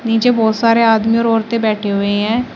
नीचे बहोत सारे आदमी और औरतें बैठी हुई हैं।